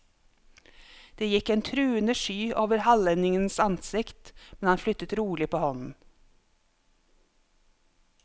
Det gikk en truende sky over hallendingens ansikt, men han flyttet rolig på hånden.